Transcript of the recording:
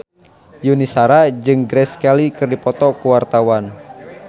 Yuni Shara jeung Grace Kelly keur dipoto ku wartawan